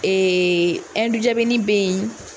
ɛndujabinin bɛ yen.